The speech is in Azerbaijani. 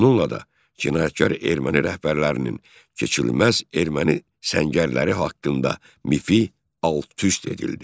Bununla da cinayətkar erməni rəhbərlərinin keçilməz erməni səngərləri haqqında mifi alt-üst edildi.